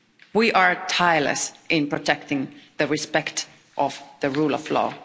We are tireless in protecting the respect of the rule of law.